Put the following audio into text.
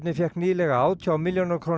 fékk nýlega átján milljóna króna